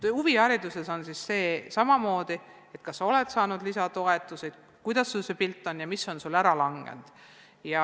Huvihariduses on samamoodi, et vaadatakse seda, kas sa oled saanud lisatoetusi, kuidas sul üldine olukord on ja millised vahendid on ära langenud.